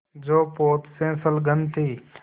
जो पोत से संलग्न थी